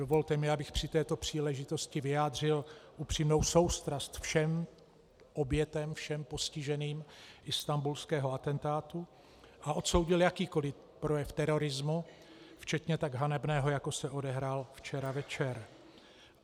Dovolte mi, abych při této příležitosti vyjádřil upřímnou soustrast všem obětem, všem postiženým istanbulského atentátu a odsoudil jakýkoliv projev terorismu včetně tak hanebného, jako se odehrál včera večer.